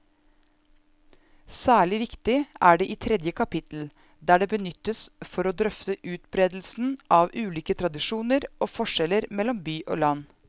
Særlig viktig er det i tredje kapittel, der det benyttes for å drøfte utbredelsen av ulike tradisjoner og forskjeller mellom by og land.